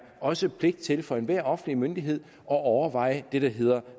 også pligt til for enhver offentlig myndighed at overveje det der hedder